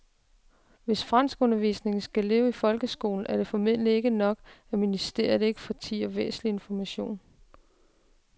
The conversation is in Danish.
Hvis franskundervisningen skal leve i folkeskolen er det formentlig ikke nok, at ministeriet ikke fortier væsentlig information.